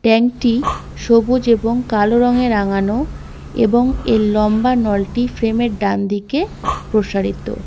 Tank -টি সবুজ এবং কালো রঙে রাঙানো এবং এর লম্বা নলটি ফ্রেম -এর ডানদিকে প্রসারিত।